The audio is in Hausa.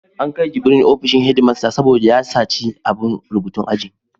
An kai Jubril ofishin headmaster saboda ya saci abun rubutun aji.